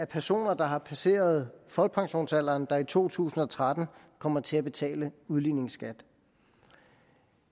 personer der har passeret folkepensionsalderen der i to tusind og tretten kommer til at betale udligningsskat